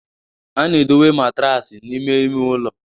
A na-edowe matraasi n'ime ime ụlọ